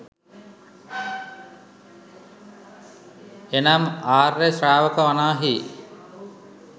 එනම් ආර්ය ශ්‍රාවකයා වනාහි